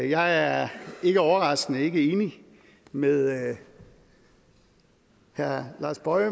jeg er ikke overraskende ikke enig med herre lars boje